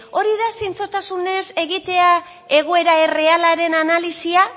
hori da zintzotasunez egitea egoera errealaren analisia